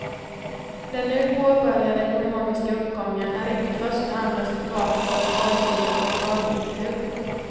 Den nu påbörjade ekonomiska uppgången är inte i första hand resultatet av en borgerlig mirakelkur.